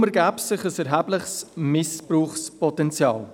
Deshalb ergebe sich ein erhebliches Missbrauchspotenzial.